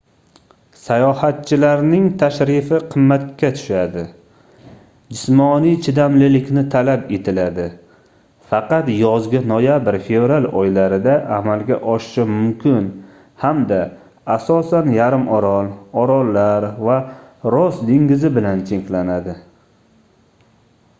sayohatchilarning tashrifi qimmatga tushadi jismoniy chidamlilikni talab etiladi faqat yozgi noyabr-fevral oylarida amalga oshishi mumkin hamda asosan yarimorol orollar va ross dengizi bilan cheklanadi